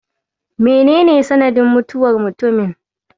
Mene ne sanadin mutuwar mutumin?